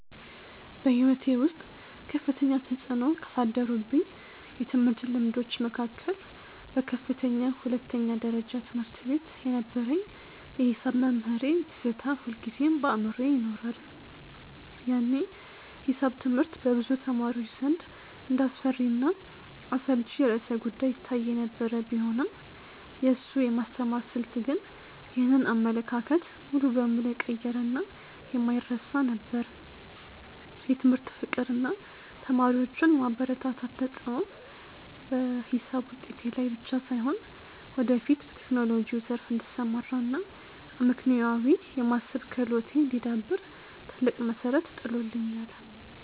በሕይወቴ ውስጥ ከፍተኛ ተፅዕኖ ካሳደሩብኝ የትምህርት ልምዶች መካከል በከፍተኛ ሁለተኛ ደረጃ ትምህርት ቤት የነበረኝ የሒሳብ መምህሬ ትዝታ ሁልጊዜም በአእምሮዬ ይኖራል። ያኔ ሒሳብ ትምህርት በብዙ ተማሪዎች ዘንድ እንደ አስፈሪና አሰልቺ ርዕሰ-ጉዳይ ይታይ የነበረ ቢሆንም፣ የእሱ የማስተማር ስልት ግን ይህንን አመለካከት ሙሉ በሙሉ የቀየረና የማይረሳ ነበር። የትምህርት ፍቅር እና ተማሪዎቹን የማበረታታት ተሰጥኦ በሒሳብ ውጤቴ ላይ ብቻ ሳይሆን፣ ወደፊት በቴክኖሎጂው ዘርፍ እንድሰማራ እና አመክንዮአዊ የማሰብ ክህሎቴ እንዲዳብር ትልቅ መሠረት ጥሎልኛል።